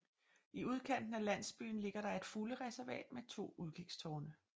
I udkanten af landsbyen ligger der et fuglereservat med to udkigstårne